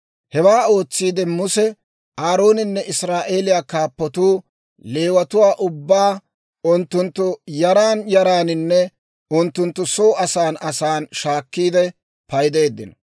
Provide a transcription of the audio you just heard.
Hewaa ootsiide Muse, Aarooninne Israa'eeliyaa kaappatuu Leewatuwaa ubbaa, unttunttu yaran yaraaninne unttunttu soo asan asan shaakkiide paydeeddino.